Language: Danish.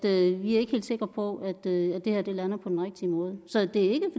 er helt sikker på at det her lander på den rigtige måde så det er ikke